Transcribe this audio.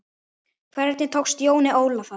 Hvernig tókst Jóni Óla það?